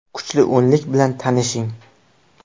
Kuchli o‘nlik bilan tanishing: !